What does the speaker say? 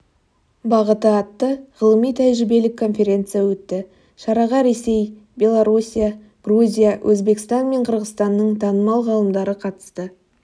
бағыты атты ғылыми-тәжірибелік конференция өтті шараға ресей белоруссия грузия өзбекстан мен қырғызстанның танымал ғалымдары қатысты